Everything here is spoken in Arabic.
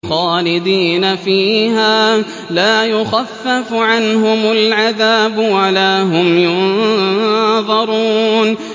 خَالِدِينَ فِيهَا لَا يُخَفَّفُ عَنْهُمُ الْعَذَابُ وَلَا هُمْ يُنظَرُونَ